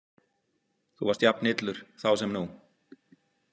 Þú varst jafn illur þá sem nú.